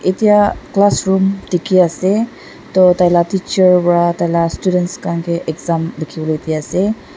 etiya classroom dekhi ase do taila teacher para taila students khan ke exam lekibole de ase.